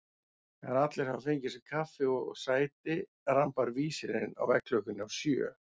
Þegar allir hafa fengið sér kaffi og sæti rambar vísirinn á veggklukkunni á sjö.